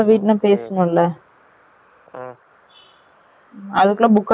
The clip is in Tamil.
அது குல்ல book அயிடுமோ